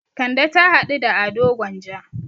Kande ta haɗu da Ado Gwanja.